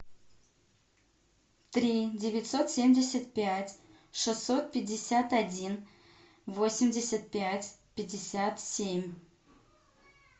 три девятьсот семьдесят пять шестьсот пятьдесят один восемьдесят пять пятьдесят семь